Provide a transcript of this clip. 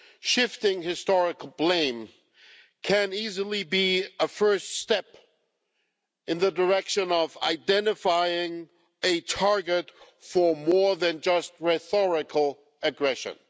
Shifting historical blame can easily be a first step in the direction of identifying a target for more than just rhetorical aggression.